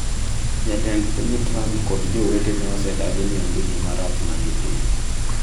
Jatend piny Trump kod jowetene osedagi ni onge gima rach ma gitimo.